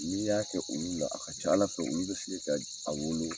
N'i y'a kɛ olu la, a ka ca Ala fɛ olu bɛ se ka a wolo.